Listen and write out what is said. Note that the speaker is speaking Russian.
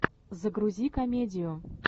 загрузи комедию